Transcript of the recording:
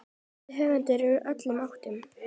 eftir höfunda úr öllum áttum.